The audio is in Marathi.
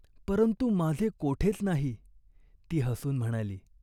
परंतु माझे कोठेच नाही !" ती हसून म्हणाली.